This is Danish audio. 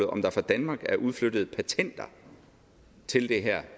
om der fra danmark er udflyttet patenter til det her